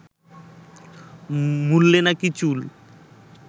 মূলে নাকি চুল